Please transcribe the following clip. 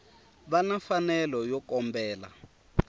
va na mfanelo yo kombela